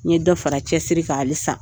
N ɲe dɔ fara cɛsiri kan hali san.